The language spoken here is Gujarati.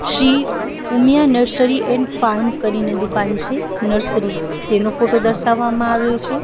Shri Umiya nursery and farm કરીને દુકાન છે નર્સરી તેનો ફોટો દર્શાવામાં આવ્યો છે.